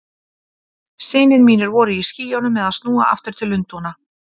Synir mínir voru í skýjunum með að snúa aftur til Lundúna.